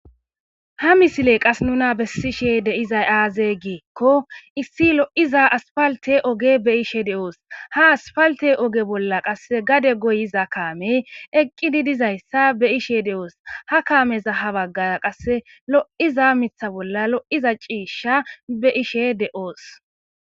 Ha misiley qas nuna bessishe de'izay aazey giikko issi lo'iza aspalte oge be ishe de'oos ha asfalte oge bolla qasse gade goyiza kaamey eqqi di dizayssa be ishe de'oos ha kaameza ha baggara qasse lo'iza mitha bolla lo'iza ciishsha be ishe de7oos.